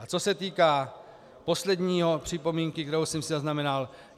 A co se týká poslední připomínky, kterou jsem si zaznamenal.